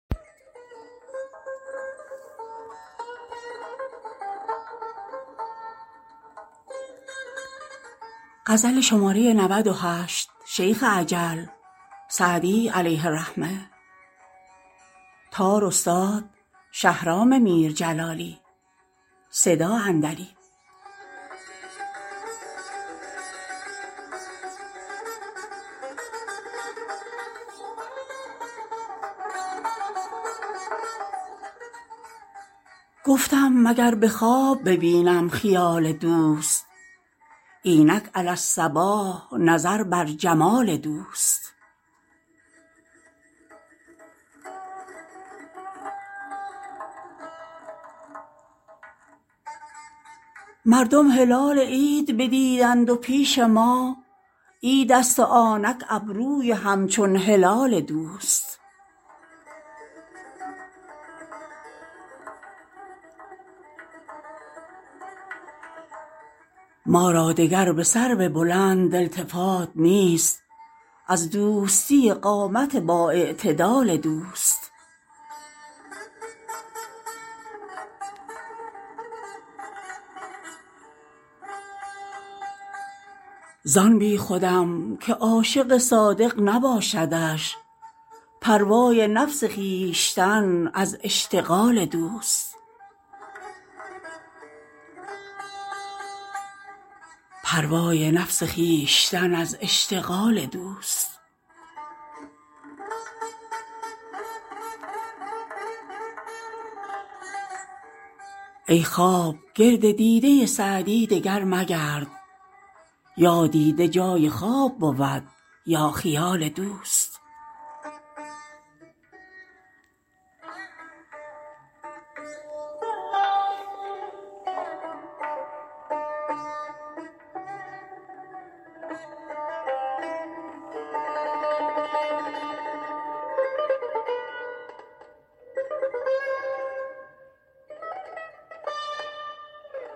گفتم مگر به خواب ببینم خیال دوست اینک علی الصباح نظر بر جمال دوست مردم هلال عید ندیدند و پیش ما عیدست و آنک ابروی همچون هلال دوست ما را دگر به سرو بلند التفات نیست از دوستی قامت بااعتدال دوست زان بیخودم که عاشق صادق نباشدش پروای نفس خویشتن از اشتغال دوست ای خواب گرد دیده سعدی دگر مگرد یا دیده جای خواب بود یا خیال دوست